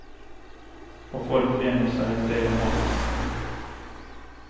Och folk vänjer sig vid det de har.